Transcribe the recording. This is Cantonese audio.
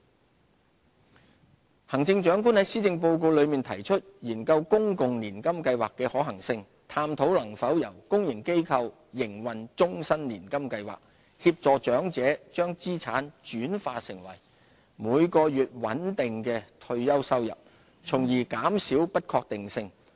公共年金計劃行政長官在施政報告內提出研究公共年金計劃的可行性，探討能否由公營機構營運終身年金計劃，協助長者將資產轉化成每月穩定的退休收入，從而減少不確定性。